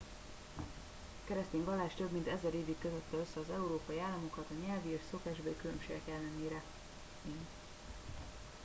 a keresztény vallás több mint ezer évig kötötte össze az európai államokat a nyelvi és szokásbeli különbségek ellenére én